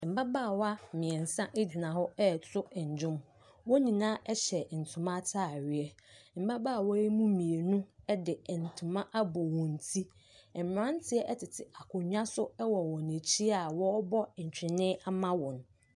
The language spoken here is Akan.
Mmabaawa mmiɛnsa gyina hɔ reto nnwom. Wɔn nyinaa hyɛ ntoma ataadeɛ, mmabaawa yi mu mmienu de ntoma abɔ wɔn ti. Mmeranteɛ tete akonnwa so wɔ wɔn akyi a wɔrebɔ ntwene ama wɔn.